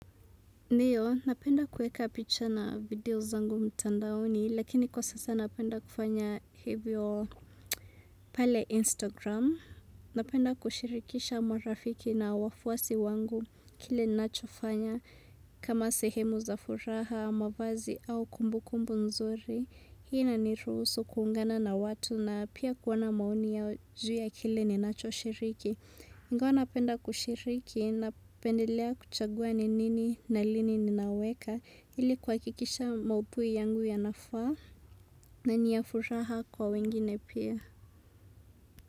Ndiyo, napenda kueka picha na video zangu mtandaoni, lakini kwa sasa napenda kufanya hivyo pale Instagram. Napenda kushirikisha marafiki na wafuasi wangu kile ninachofanya kama sehemu za furaha, mavazi au kumbu kumbu nzuri. Hii inaniruhusu kuungana na watu na pia kuona maoni yao juu ya kile ninacho shiriki. Ingawa napenda kushiriki, napendelea kuchagua ni nini na lini ninauweka ili kuhakikisha mauthui yangu yanafaa na ni ya furaha kwa wengine pia.